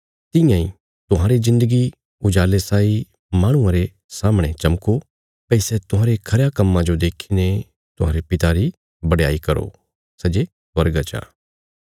तियां इ तुहांरी जिन्दगी उजाले साई माहणुआं रे सामणे चमको भई सै तुहांरे खरयां कम्मां जो देखीने तुहांरे पिता री बडयाई करो सै जे स्वर्गा चा